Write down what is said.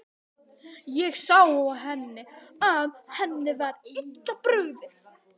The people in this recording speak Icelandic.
Ég sá á henni að henni var illa brugðið.